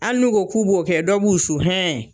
Ali n'u ko k'u b'o kɛ , dɔ b'u su